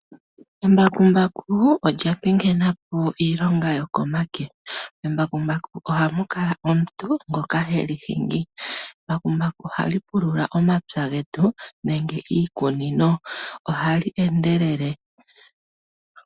Embakumbaku olya pingena po iilonga yokomake. Membakumbaku ohamu kala omuntu ngoka heli hingi. Embakumbaku ohali pulula omapya getu nenge iikunino. Ohali endelele.